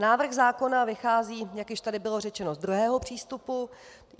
Návrh zákona vychází, jak již tady bylo řečeno, z druhého přístupu.